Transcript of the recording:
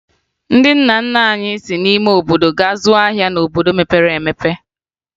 Ndị nna nna anyị si n'ime obodo gaa zụọ ahịa n'obodo mepere emepe